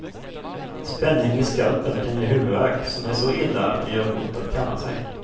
Spänning i skalpen kan ge huvudvärk som är så illa att det gör ont att kamma sig.